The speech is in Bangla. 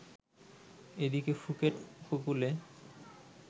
এদিকে ফুকেট উপকূলে